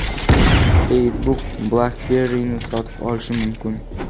Facebook BlackBerry’ni sotib olishi mumkin.